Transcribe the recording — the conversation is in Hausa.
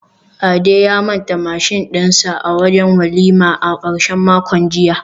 Ade ya manta mashin dinsa a wajen walima a karshen makon jiya